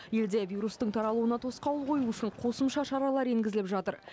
елде вирустың таралуына тосқауыл қою үшін қосымша шаралар енгізіліп жатыр